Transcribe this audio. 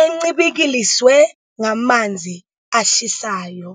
encibikiliswe ngamanzi ashisayo.